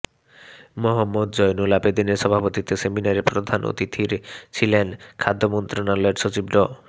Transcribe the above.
মোহাম্মদ জয়নুল আবেদীনের সভাপতিত্বে সেমিনারে প্রধান অতিথির ছিলেন খাদ্য মন্ত্রণালয়ের সচিব ড